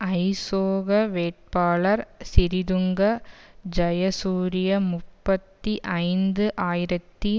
ஐசோக வேட்பாளர் சிறிதுங்க ஜயசூரிய முப்பத்தி ஐந்து ஆயிரத்தி